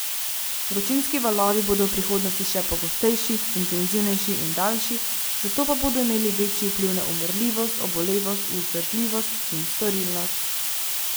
Vročinski valovi bodo v prihodnosti še pogostejši, intenzivnejši in daljši, zato pa bodo imeli večji vpliv na umrljivost, obolevnost, vzdržljivost in storilnost.